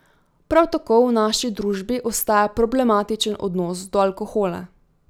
Prav tako v naši družbi ostaja problematičen odnos do alkohola.